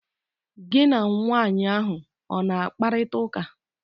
Gi na nwanyị ahụ ọ na-akparịta ụka?